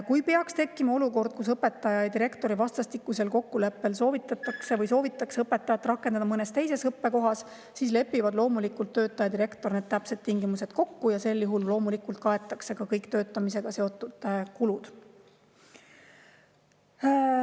Kui peaks tekkima olukord, kus õpetaja ja direktori vastastikusel kokkuleppel soovitakse õpetajat rakendada mõnes teises õppekohas, siis lepivad töötaja ja direktor täpsed tingimused kokku ja sel juhul loomulikult kaetakse ka kõik töötamisega seotud kulud.